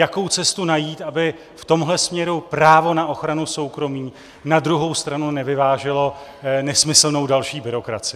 Jakou cestu najít, aby v tomhle směru právo na ochranu soukromí na druhou stranu nevyváželo (?) nesmyslnou další byrokracii.